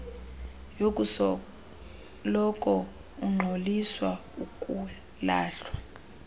yokusoloko ungxoliswa ukulahlwa